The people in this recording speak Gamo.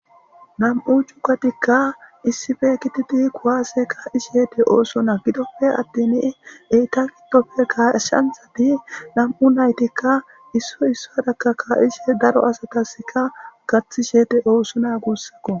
Nam'u cukatikka issife kititi kuwaase ka'isheete oosona gidoppe attin eyta gidopfe gashanzati nam'u naytikka isso issadakka kaa'ishe daro asataska gaththi sheete oosu na guussakko.